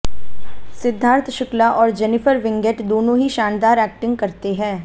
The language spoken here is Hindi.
सिद्धार्थ शुक्ला और जेनिफर विंगेट दोनों ही शानदार एक्टिंग करते हैं